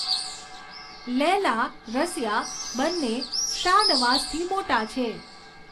લૈલા, રસિયા, બંને શાનવાઝથી મોટા છે.